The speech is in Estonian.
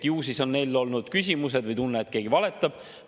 Ju siis on neil olnud küsimused või tunne, et keegi valetab.